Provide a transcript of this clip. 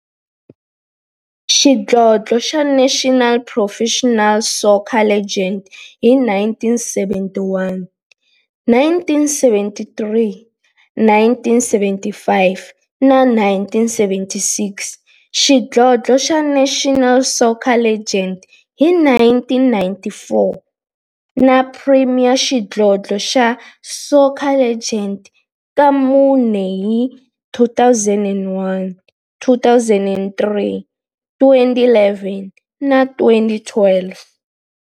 xidlodlo xa National Professional Soccer League hi 1971, 1973, 1975 na 1976, xidlodlo xa National Soccer League hi 1994, na Premier Xidlodlo xa Soccer League ka mune, hi 2001, 2003, 2011 na 2012.